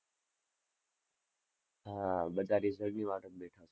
હા, બધા result ની વાટે જ બેઠા છે.